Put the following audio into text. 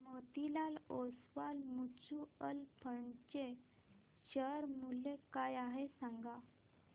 Motilal Oswal mutual fund चे share मूल्य काय आहे सांगा